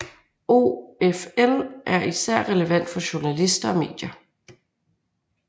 OFL er Især relevant for journalister og medier